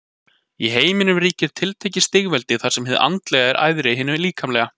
Í heiminum ríkir tiltekið stigveldi þar sem hið andlega er æðra hinu líkamlega.